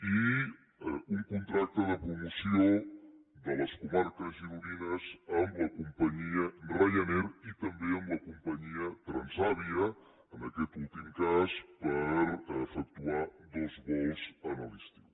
i un contracte de promoció de les comarques gironines amb la companyia ryanair i també amb la companyia transavia en aquest últim cas per efectuar dos vols a l’estiu